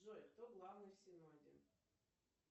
джой кто главный в синоде